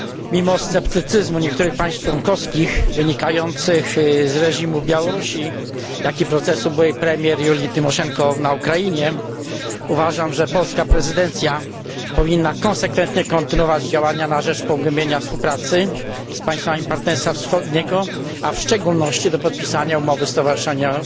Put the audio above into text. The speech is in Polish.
Mimo sceptycyzmu niektórych państw członkowskich wynikającego z reżimu Białorusi, jak i z procesu byłej premier Julii Tymoszenko na Ukrainie, uważam, że polska prezydencja powinna konsekwentnie kontynuować działania na rzecz pogłębienia współpracy z państwami Partnerstwa Wschodniego, a w szczególności na rzecz podpisania umowy stowarzyszeniowej